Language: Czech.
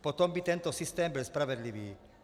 Potom by tento systém byl spravedlivý.